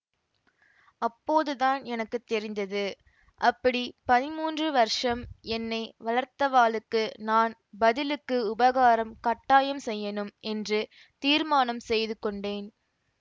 அப்போதுதான் எனக்கு தெரிந்தது அப்படி பதின்மூன்று வருஷம் என்னை வளர்த்தவாளுக்கு நான் பதிலுக்கு உபகாரம் கட்டாயம் செய்யணும் என்று தீர்மானம் செய்து கொண்டேன்